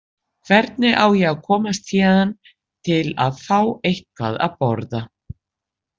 Hvernig á ég að komast héðan til að fá eitthvað að borða?